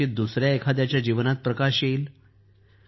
कदाचित दुसऱ्या एखाद्याच्या जीवनात प्रकाश येईल